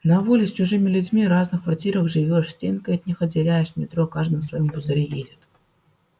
на воле с чужими людьми разных квартирах живёшь стенкой от них отделяешься в метро каждым своим пузыре едет